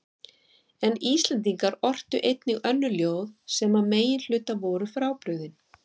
En Íslendingar ortu einnig önnur ljóð sem að meginhluta voru frábrugðin